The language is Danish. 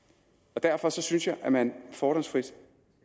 og derfor synes jeg at man fordomsfrit